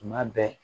Tuma bɛɛ